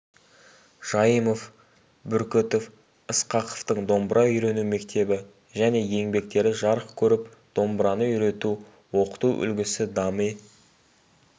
жайымов бүркітов ысқақовтың домбыра үйрену мектебі және еңбектері жарық көріп домбыраны үйрету оқыту үлгісі дами